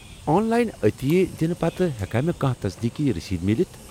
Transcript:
آن line عطیہ دِنہٕ پتہٕ ہیٚکیٛا مےٚ کانٛہہ تصدیٖقی رٔسیدٕ میلِتھ؟